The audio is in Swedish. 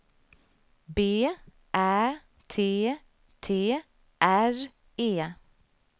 B Ä T T R E